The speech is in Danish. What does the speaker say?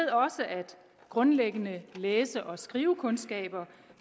grundlæggende læse og skrivekundskaber